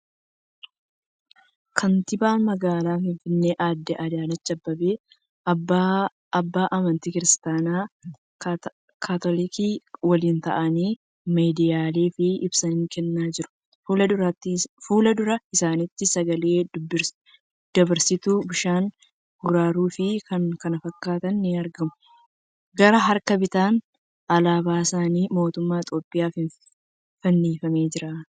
Kantiibaa magaalaa Finfinnee adde Adaanach Abeebee abbaa amantii kiristaanaa kaatoolikii waliin taa'anii midiyaaleef ibsa kennaa jiru. Fuuldura isaaniitti sagalee dabarsituu, bishaan qaruura fi kan kana fakkaatan ni argamu. Gara harka bitaan alaabasn mootummaa Itiyoophiyaa fannifamee jira.